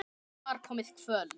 Það var komið kvöld.